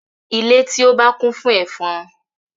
Ile ti o ba kun fun efon